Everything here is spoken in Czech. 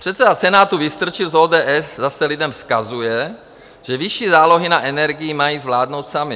Předseda Senátu Vystrčil z ODS zase lidem vzkazuje, že vyšší zálohy na energii mají zvládnout sami.